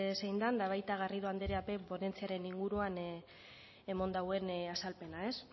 zein den eta baita garrido andreak ere ponentziaren inguruan eman duen azalpena ez